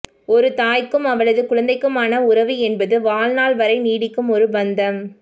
ஒரு தாய்க்கும் அவளது குழந்தைக்குமான உறவு என்பது வாழ்நாள் வரை நீடிக்கும் ஒரு பந்தம்